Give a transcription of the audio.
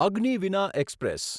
Agniveena express